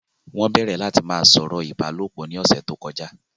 Wọ́n bẹ̀rẹ̀ láti ma sọ̀rọ̀ ìbálòpọ̀ ni ọ̀sẹ̀ tó kọjá